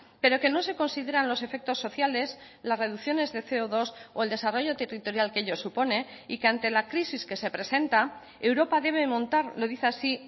pero que no se consideran los efectos sociales las reducciones de ce o dos o el desarrollo territorial que ello supone y que ante la crisis que se presenta europa debe montar lo dice así